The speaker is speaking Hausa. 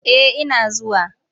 Eh ina zuwa.